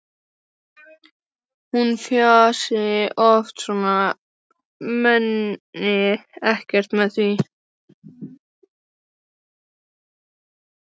Hún fjasi oft svona en meini ekkert með því.